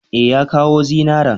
E, ya kawo zinaran.